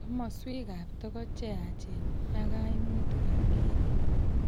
Komoswek ab togoch cheyaach ak kaimutik ab kereet